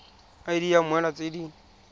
id ya mmoelwa tse di